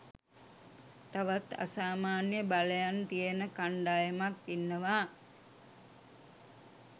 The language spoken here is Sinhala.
තවත් අසාමාන්‍ය බලයන් තියෙන කණ්ඩායමක් ඉන්නවා.